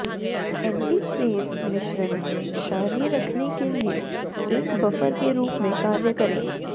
antifreeze मिश्रण क्षारीय रखने के लिए एक बफर के रूप में कार्य करें